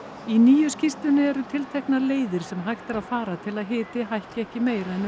í nýju skýrslunni eru tilteknar leiðir sem hægt er að fara til að hiti hækki ekki meira en